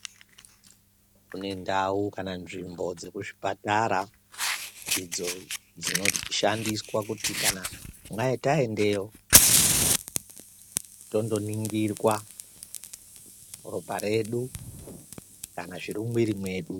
Kune ndau kana tsvimbo dzekuzvipatara idzo dzinoshandiswa kuti kana taendayo tondoningirwa ropa redu kana zviri mumwiri mwedu.